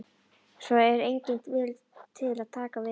Svo er enginn til að taka við henni.